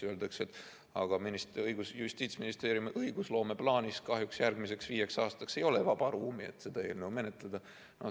Öeldakse, et aga Justiitsministeeriumi õigusloomeplaanis kahjuks järgmiseks viieks aastaks ei ole vaba ruumi, et seda eelnõu menetleda.